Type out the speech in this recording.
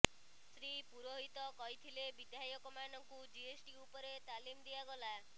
ଶ୍ରୀ ପୁରୋହିତ କହିଥିଲେ ବିଧାୟକମାନଙ୍କୁ ଜିଏସ୍ଟି ଉପରେ ତାଲିମ୍ ଦିଆଗଲା